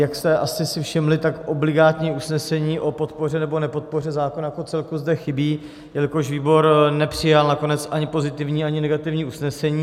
Jak jste si asi všimli, tak obligátní usnesení o podpoře nebo nepodpoře zákona jako celku zde chybí, jelikož výbor nepřijal nakonec ani pozitivní, ani negativní usnesení.